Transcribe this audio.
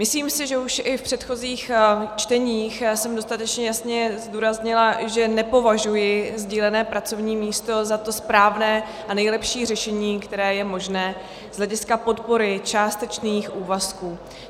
Myslím si, že už i v předchozích čteních jsem dostatečně jasně zdůraznila, že nepovažuji sdílené pracovní místo za to správné a nejlepší řešení, které je možné z hlediska podpory částečných úvazků.